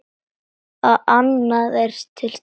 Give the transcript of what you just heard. Allt annað er til staðar.